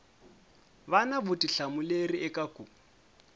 va na vutihlamuleri eka ku